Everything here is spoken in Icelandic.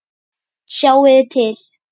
Sjáiði til!